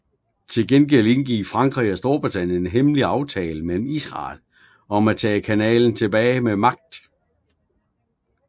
Til gengæld indgik Frankrig og Storbritannien en hemmelig aftale med Israel om at tage kanalen tilbage med magt